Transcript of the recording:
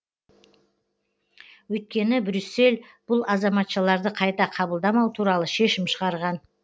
өйткені брюссель бұл азаматшаларды қайта қабылдамау туралы шешім шығарған